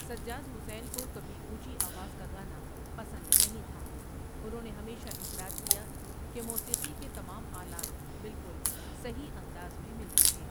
سجاد حسین کو کبھی اونچی آواز کا گانا پسند نہیں تھا انہوں نے ہمیشہ اصرار کیا کہ موسیقی کے تمام آلات بالکل صحیح انداز میں ملتے ہیں ۔